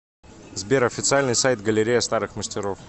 сбер официальный сайт галерея старых мастеров